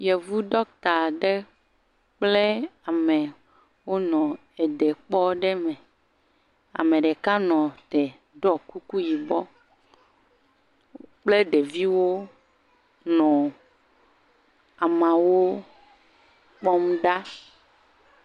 Yevu dɔkta aɖe kple ame wo nɔ edekpɔ aɖe me. Ame ɖeka nɔ te ɖɔ kuku yibɔ kple ɖeviwo nɔ ameawo kpɔm ɖa.